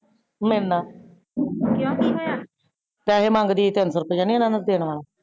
ਮੇਰੇ ਨਾਲ ਪੇਸੇ ਮੰਗ ਦੀ ਸੀ ਤਿਨ ਸੋ ਰੁਪਿਆ ਨੋ ਓਨਾ ਨੂ ਦੇਣਾ